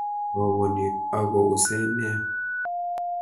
Roboni ako use nea